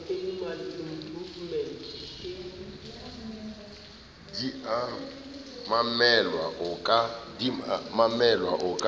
di a emelwa o ka